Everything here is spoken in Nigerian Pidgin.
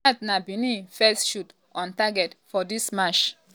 dat na benin first shot on target for dis match.